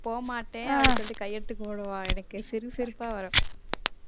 போ மாட்டேன் அப்படீன்னு சொல்லிட்டு கையெடுத்து கும்பிடுவான் எனக்கு சிரிப்பு சிரிப்பா வரும்